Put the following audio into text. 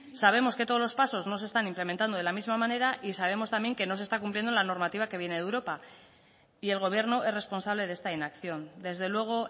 sabemos que todos los pasos no se están implementando de la misma manera y sabemos también que no se está cumpliendo la normativa que viene de europa y el gobierno es responsable de esta inacción desde luego